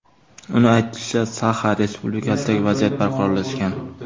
Uning aytishicha, Saxa Respublikasidagi vaziyat barqarorlashgan.